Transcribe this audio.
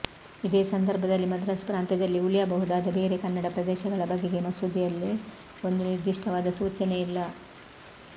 ಇದೇ ಸಂದರ್ಭದಲ್ಲಿ ಮದ್ರಾಸ್ ಪ್ರಾಂತ್ಯದಲ್ಲಿ ಉಳಿಯಬಹುದಾದ ಬೇರೆ ಕನ್ನಡ ಪ್ರದೇಶಗಳ ಬಗೆಗೆ ಮಸೂದೆಯಲ್ಲಿ ಒಂದು ನಿರ್ದಿಷ್ಟವಾದ ಸೂಚನೆಯಿಲ್ಲ